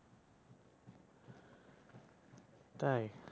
তাই?